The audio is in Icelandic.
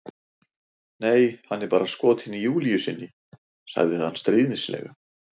Nei, hann er bara skotinn í Júlíu sinni, sagði hann stríðnislega.